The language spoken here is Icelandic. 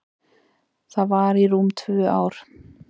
Það var í rúm tvö ár.